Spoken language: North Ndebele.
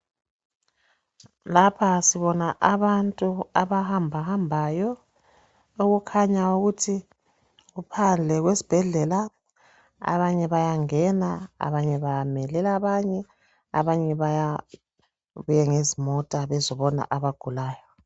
Lapha sibona abantu abahamba hambayo okukhanya ukuthi kuphandle kwesibhedlela abanye bayangena abanye bamelela abanye, abanye babuya ngezimota bezobona abagulayo.